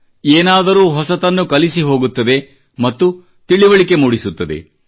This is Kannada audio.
ಏನಾದರೂ ಹೊಸತನ್ನು ಕಲಿಸಿ ಹೋಗುತ್ತದೆ ಮತ್ತು ತಿಳಿವಳಿಕೆ ಮೂಡಿಸುತ್ತದೆ